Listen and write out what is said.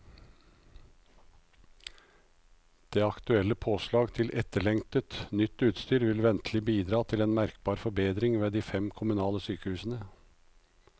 De aktuelle påslag til etterlengtet, nytt utstyr vil ventelig bidra til merkbar forbedring ved de fem kommunale sykehusene.